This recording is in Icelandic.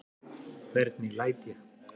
Hvernig læt ég?